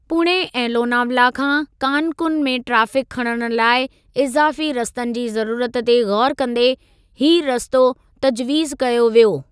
पूणे ऐं लोनावला खां कानकुन में ट्रैफ़िक खणणु लाइ इज़ाफ़ी रस्तनि जी ज़रूरत ते ग़ौरु कंदे हीअ रस्तो तजवीज़ कयो वियो।